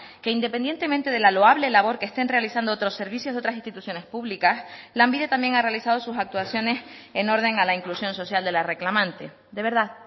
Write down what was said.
que independientemente de la loable labor que estén realizando otros servicios de otras instituciones públicas lanbide también ha realizado sus actuaciones en orden a la inclusión social de la reclamante de verdad